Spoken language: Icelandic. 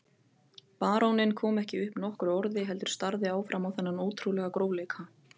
Baróninn kom ekki upp nokkru orði heldur starði áfram á þennan ótrúlega grófleika.